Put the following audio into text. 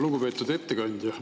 Lugupeetud ettekandja!